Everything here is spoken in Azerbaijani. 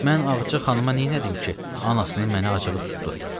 Mən Ağca xanıma neylədim ki, anasının mənə acığı tutdu.